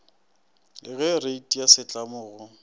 ka reiti ya setlamo go